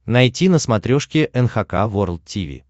найти на смотрешке эн эйч кей волд ти ви